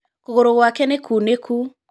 Kũgũrũ gwake nĩ kunĩku.